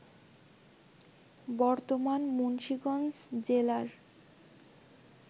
বর্তমান মুন্সিগঞ্জ জেলার